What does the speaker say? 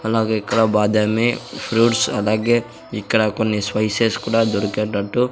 అలాగే ఇక్కడ బాదమే ఫ్రూట్స్ అలాగే ఇక్కడ కొన్ని స్పైసెస్ కూడా దొరికేటట్టు--